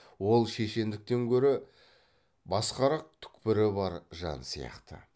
ол шешендіктен көрі басқарақ түкпірі бар жан сияқты